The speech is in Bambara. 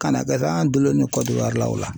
Kana kɛ sa an dulonnen ne Kɔdiwari la o la